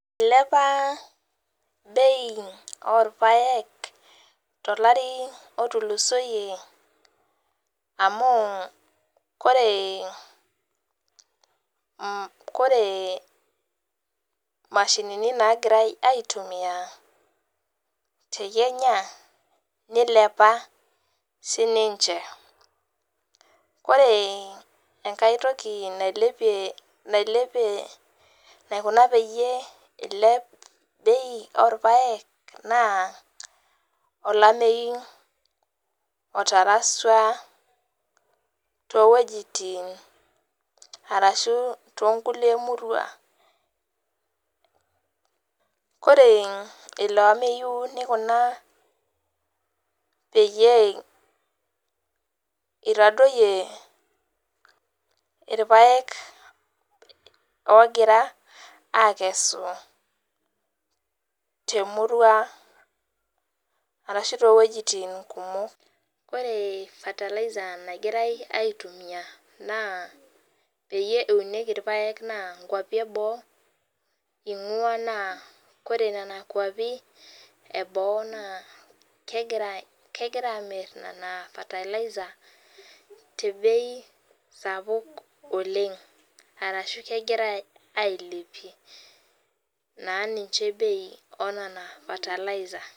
Ilepa bei orpaek tolari otulosoyie amu ore koree mashinini nagirai aitumia tekenya nilepa sininche ore enkae toki naikuna peyie ilep bei orpaek na olameyu otarasua towuejitin ashu tobkulie murua ore ilo ameyi nikuna peyie itadoyio irpaek ogira akesu temurua ashu towuejitin kumol ore fertiliser peyie eunieki irpaek na meapi eboo ingwa na ore nona kwapi eboo na kegira amir tebei sapuk oleng naa ninche bei onona fertiliser.